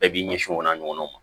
Bɛɛ b'i ɲɛsin o n'a ɲɔgɔnnaw ma